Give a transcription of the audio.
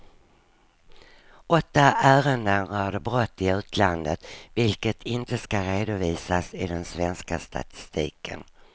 Åtta ärenden rörde brott i utlandet, vilket inte ska redovisas i den svenska statistiken.